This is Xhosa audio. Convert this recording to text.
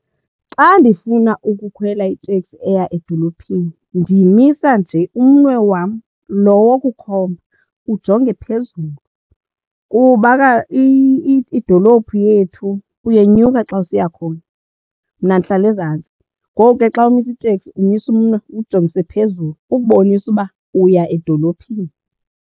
Xxa ndifuna ukukhwela iteksi eya edolophini ndimisa nje umnwe wam loo wokukhomba ujonge phezulu kuba idolophu yethu uyenyuka xa usiya khona. Mna ndihlala ezantsi ngoku ke xa umisa iteksi umisa umnwe uwujongise phezulu ukubonisa uba uya edolophini.